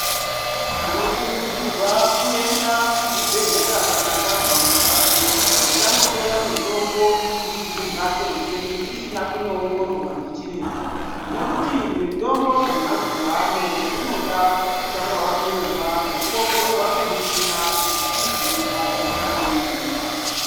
Tinokurudzirwa kuenda kuzvibhedhlera kana tanzwa marwadzo. Tisangotora mitombo tirikumbatso kwedu tisina kuongororwa ndichiremba .Nekuti mitombo dzemazuva ano dzinoda kutanga wanyorerwa ngekuongororwa ngemuchina kuti chii chinorwadza chemene mene.